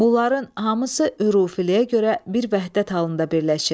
Bunların hamısı ürfiliyə görə bir vəhdət halında birləşir.